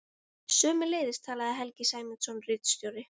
Sömuleiðis talaði Helgi Sæmundsson ritstjóri.